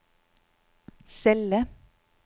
celle